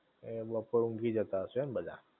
એ બપોર ઊંઘી જતાં હશો એમ બધા?